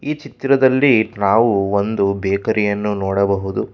ಈ ಚಿತ್ರದಲ್ಲಿ ನಾವು ಒಂದು ಬೇಕರಿಯನ್ನು ನೋಡಬಹುದು.